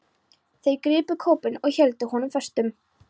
Þeir gripu kópinn og héldu honum föstum.